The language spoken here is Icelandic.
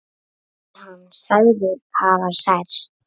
Er hann sagður hafa særst.